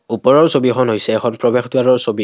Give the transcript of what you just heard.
ওপৰৰ ছবিখন হৈছে এখন প্ৰবেশ দ্বাৰৰ ছবি।